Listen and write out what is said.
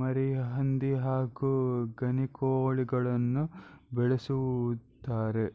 ಮರಿಹಂದಿ ಹಾಗು ಗಿನಿಕೋಳಿಗಳನ್ನು ಬೆಳೆಸುತ್ತಾರೆ